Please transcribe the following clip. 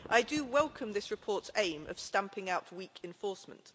I do welcome this report's aim of stamping out weak enforcement.